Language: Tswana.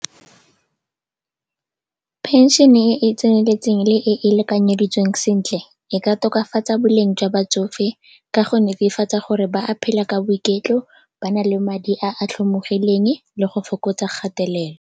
Pension-e e e tseneletseng le e e lekanyeditsweng sentle e ka tokafatsa boleng jwa batsofe ka go netefatsa gore ba a phela ka boiketlo, ba na le madi a a tlhomogileng le go fokotsa kgatelelo.